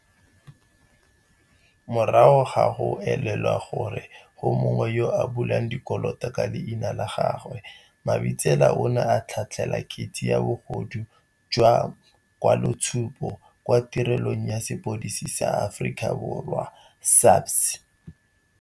Morago ga go elelwa gore go mongwe yo a bulang dikoloto ka leina la gagwe, Mabitsela o ne a tlhatlhela kgetse ya bogodu jwa ma kwaloitshupo kwa Tirelong ya Sepodisi sa Aforika Borwa, SAPS.